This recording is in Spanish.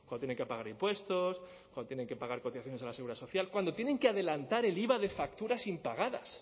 tienen que pagar impuestos cuando tienen que pagar cotizaciones a la seguridad social cuando tienen que adelantar el iva de facturas impagadas